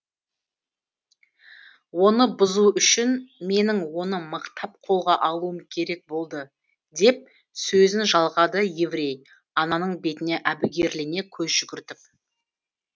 оны бұзу үшін менің оны мықтап қолға алуым керек болды деп сөзін жалғады еврей ананың бетіне әбігерлене көз жүгіртіп